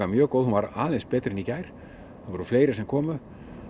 mjög góð hún var aðeins betri en í gær það voru fleiri sem komu